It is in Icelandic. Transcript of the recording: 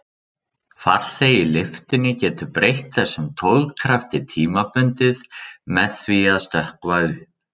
Farþegi í lyftunni getur breytt þessum togkrafti tímabundið með því að stökkva upp.